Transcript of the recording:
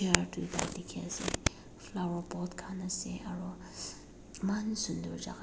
tuita diki ase flower pot kan ase aro ess eman sundor jaka.